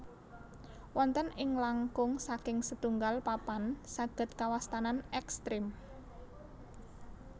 Wonten ing langkung saking setunggal papan saged kawastanan ekstrim